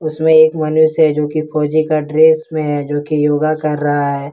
इसमें एक मनुष्य है जो की फौजी का ड्रेस में है जो की योगा कर रहा है।